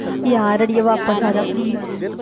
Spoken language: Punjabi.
ਯਾਰ ਅੜੀਏ ਵਾਪਸ ਆ ਜਾ please